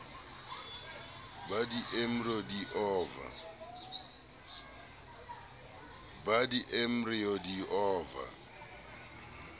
ba di embryo di ova